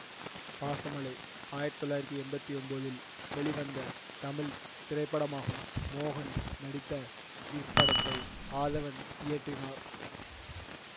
பாசமழை ஆயிரத்தி தொள்ளயிரத்தி எண்பத்தி ஒம்போதில் வெளிவந்த தமிழ் திரைப்படமாகும் மோகன் நடித்த இப்படத்தை ஆதவன் இயக்கினார்